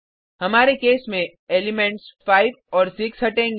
हमारे केस में एलिमेंट्स 5 और 6 हटेगा